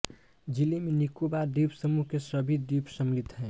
ज़िले में निकोबार द्वीपसमूह के सभी द्वीप सम्मिलित हैं